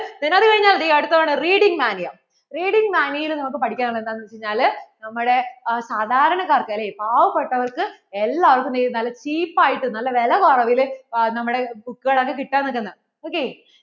ok അത് കഴിഞ്ഞാൽ ദേ അടുത്ത തവണ reading mania, reading mania യിൽ നമുക്ക് പഠിക്കാൻ ഉള്ളത് എന്താന്ന് വെച്ചുകഴിഞ്ഞാല് നമ്മടെ സാധാരണകാർക്ക്, അല്ലേ പാവപ്പെട്ടവർക്ക് എല്ലാർക്കും ദേ നല്ല cheap ആയിട്ടു നല്ല വില കുറവില് നമ്മടെ book കൾ ഒക്കെ കിട്ടാൻ പറ്റുന്ന